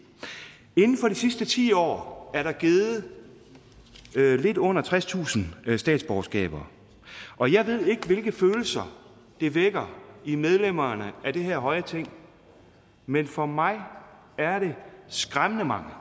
inden for de sidste ti år er der givet lidt under tredstusind statsborgerskaber og jeg ved ikke hvilke følelser det vækker i medlemmerne af det her høje ting men for mig er det skræmmende mange